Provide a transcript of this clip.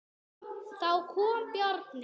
Þá kom Bjarni.